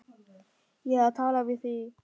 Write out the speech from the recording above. Ég er að tala við þig.